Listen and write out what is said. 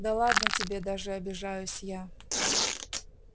да ладно тебе даже обижаюсь я